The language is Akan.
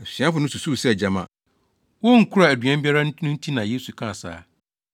Asuafo no susuw sɛ gyama wonkura aduan biara no nti na Yesu kaa saa.